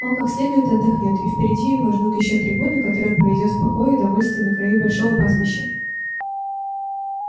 он как следует отдохнёт и впереди его ждут ещё три года которые он проведёт в покое и довольстве на краю большого пастбища